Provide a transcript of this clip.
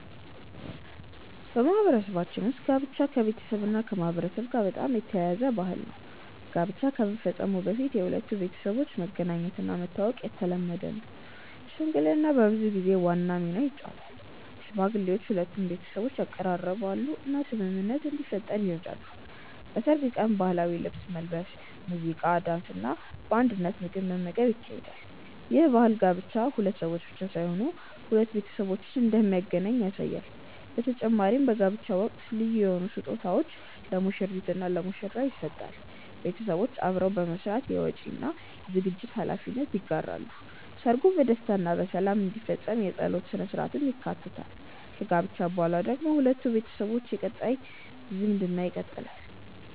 በማህበረሰባችን ውስጥ ጋብቻ ከቤተሰብና ከማህበረሰብ ጋር በጣም የተያያዘ ባህል ነው። ጋብቻ ከመፈጸሙ በፊት የሁለቱ ቤተሰቦች መገናኘትና መተዋወቅ የተለመደ ነው። ሽምግልና በብዙ ጊዜ ዋና ሚና ይጫወታል፤ ሽማግሌዎች ሁለቱን ቤተሰቦች ያቀራርባሉ እና ስምምነት እንዲፈጠር ይረዳሉ። በሰርግ ቀን ባህላዊ ልብስ መልበስ፣ ሙዚቃ፣ ዳንስ እና በአንድነት ምግብ መመገብ ይካሄዳል። ይህ ባህል ጋብቻ ሁለት ሰዎች ብቻ ሳይሆን ሁለት ቤተሰቦችን እንደሚያገናኝ ያሳያል በተጨማሪም በጋብቻ ወቅት ልዩ የሆኑ ስጦታዎች ለሙሽሪት እና ለሙሽራ ይሰጣል ቤተሰቦች አብረው በመስራት የወጪ እና የዝግጅት ሀላፊነት ይጋራሉ። ሰርጉ በደስታ እና በሰላም እንዲፈጸም የጸሎት ሥነ-ሥርዓትም ይካተታል። ከጋብቻ በኋላ ደግሞ ሁለቱ ቤተሰቦች የቀጣይ ዝምድና ይቀጥላሉ።